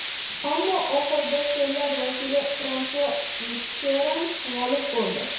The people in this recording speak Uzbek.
Ammo oxirida so‘llar vakili Fransua Mitteran g‘olib bo‘ldi.